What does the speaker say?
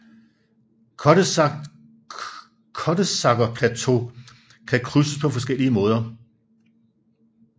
Gottesackerplateau kan krydses på forskellige måder